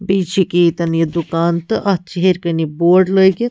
. لاگتھ بیٚیہِ چھ أکیا ییٚتٮ۪ن یہِ دُکان تہٕ اَتھ چھ ہیٚرِ کنہِ یہِ بورڈ